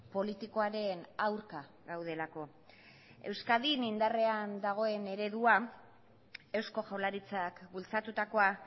politikoaren aurka gaudelako euskadin indarrean dagoen eredua eusko jaurlaritzak bultzatutakoa